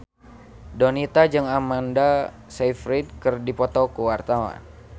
Donita jeung Amanda Sayfried keur dipoto ku wartawan